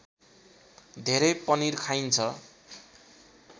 धेरै पनिर खाइन्छ